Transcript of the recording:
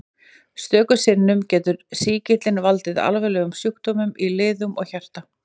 Stöku sinnum getur sýkillinn valdið alvarlegum sjúkdómum í liðum og hjarta.